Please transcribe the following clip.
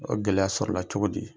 O gɛlɛya sɔrɔ la cogo di.